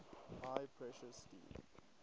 high pressure steam